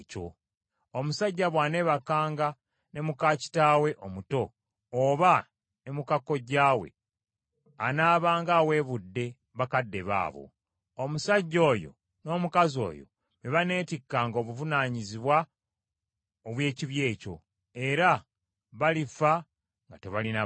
“ ‘Omusajja bw’aneebakanga ne muka kitaawe omuto oba ne muka kojjaawe, anaabanga aweebudde bakadde be abo. Omusajja oyo n’omukazi oyo be baneetikkanga obuvunaanyizibwa obw’ekibi ekyo, era balifa nga tebalina baana.